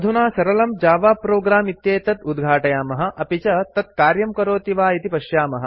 अधुना सरलम् Java program इत्येतत् उद्घाटयामः अपि च तत् कार्यं करोति वा इति पश्यामः